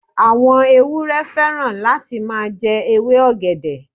Àwọn ewúrẹ́ fẹ́ràn láti máa jẹ ewé ọ̀gẹ̀dẹ̀.